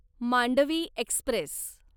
Mandvi Express